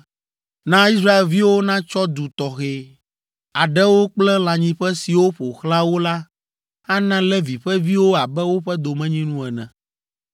“Na Israelviwo natsɔ du tɔxɛ aɖewo kple lãnyiƒe siwo ƒo xlã wo la ana Levi ƒe viwo abe woƒe domenyinu ene.